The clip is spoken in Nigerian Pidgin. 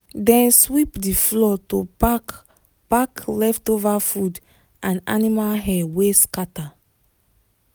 dem sweep the floor to pack pack leftover food and animal hair wey scatter.